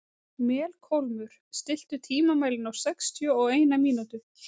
Melkólmur, stilltu tímamælinn á sextíu og eina mínútur.